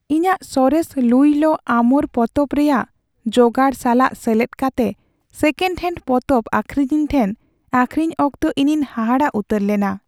ᱤᱧᱟᱹᱜ ᱥᱚᱨᱮᱥ ᱞᱩᱭ ᱞᱚ ᱟᱢᱳᱨ ᱯᱚᱛᱚᱵ ᱨᱮᱭᱟᱜ ᱡᱚᱜᱟᱲ ᱥᱟᱞᱟᱜ ᱥᱮᱞᱮᱫ ᱠᱟᱛᱮ ᱥᱮᱠᱮᱱᱰᱦᱮᱹᱱᱰ ᱯᱚᱛᱚᱵ ᱟᱹᱠᱷᱨᱤᱧᱤᱧ ᱴᱷᱮᱱ ᱟᱹᱠᱷᱨᱤᱧ ᱚᱠᱛᱚ ᱤᱧᱤᱧ ᱦᱟᱦᱟᱲᱟᱜ ᱩᱛᱟᱹᱨ ᱞᱮᱱᱟ ᱾